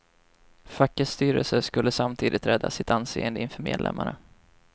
Fackets styrelse skulle samtidigt rädda sitt anseende inför medlemmarna.